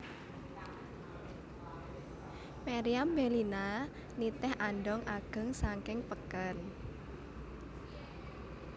Meriam Bellina nitih andhong ageng saking peken